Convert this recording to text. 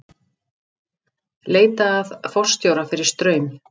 Leita að forstjóra fyrir Straum